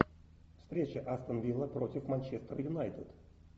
встреча астон вилла против манчестер юнайтед